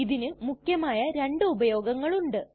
ഇതിനു മുഖ്യമായ രണ്ടു ഉപയോഗങ്ങളുണ്ട്